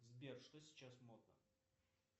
сбер что сейчас модно